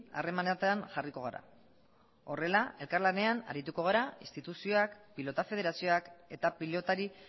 harremanetan jarriko gara horrela elkarlanean arituko gara instituzioak pilota federazioak eta pilotari